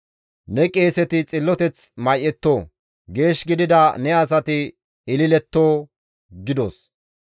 Ne qeeseti xilloteth may7etto; geesh gidida ne asati ililetto» gidos.